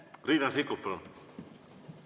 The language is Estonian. Riina Sikkut, palun!